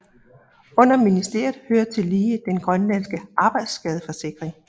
Under ministeriet hører tillige den grønlandske arbejdsskadeforsikring